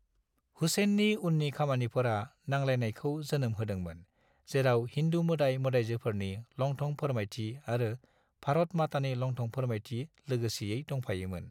हुसैननि उननि खामानिफोरा नांलायलायनायखौ जोनोम होदोंमोन, जेराव हिन्दु मोदाय-मोदायजोफोरनि लंथं फोमायथि आरो भारत मातानि लंथं फोरमायथि लोगोसेयै दंफायोमोन।